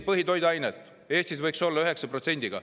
Põhitoiduainetel võiks Eestis olla 9%.